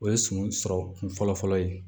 O ye sun sɔrɔ kun fɔlɔ fɔlɔ ye